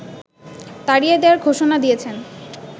তাড়িয়ে দেয়ার ঘোষণা দিয়েছেন